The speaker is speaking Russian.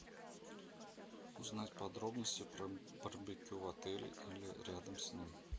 узнать подробности про барбекю в отеле или рядом с ним